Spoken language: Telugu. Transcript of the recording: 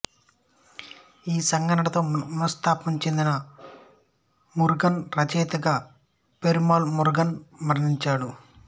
ఈ సంఘటనతో మనస్తాపం చెందిన మురుగన్ రచయితగా పెరుమాళ్ మురుగన్ మరణించాడు